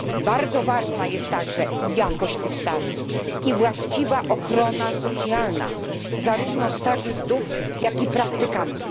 Bardzo ważna jest także jakość tych staży i właściwa ochrona socjalna zarówno stażystów, jak i praktykantów.